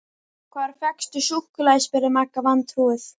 Hvar fékkstu súkkulaði? spurði Magga vantrúuð.